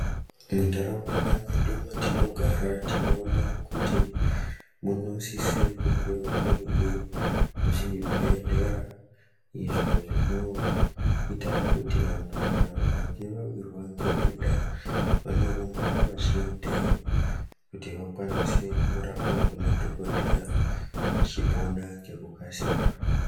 Munharaunda nemundau dzatinogara tinoona kuti munosise kungewo muine zvibhedhlera izvo zvinoita kuti vantu kana vakange vawirwa ngedenda vanorumba vachiendayo kuti vakwanise kundorapwa ngemadhokodheya vachipona ngekukasira.